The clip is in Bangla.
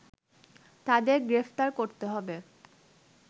তাদের গ্রেফতার করতে